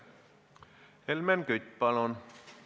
Helmen Kütt, palun!